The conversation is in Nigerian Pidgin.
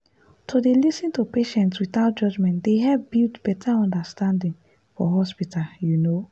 to dey lis ten to patients without judgment dey help build better understanding for hospital you know.